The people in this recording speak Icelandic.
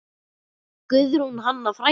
Guðrún Hanna frænka.